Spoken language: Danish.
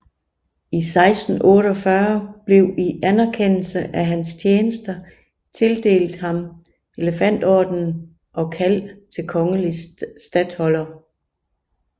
I 1648 blev i anerkendelse af hans tjenester tildelt ham Elefantordenen og kald til kongelig statholder